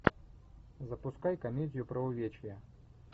запускай комедию про увечья